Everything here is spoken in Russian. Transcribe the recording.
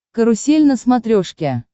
карусель на смотрешке